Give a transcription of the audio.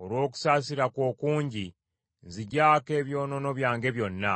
Olw’okusaasira kwo okungi nziggyaako ebyonoono byange byonna.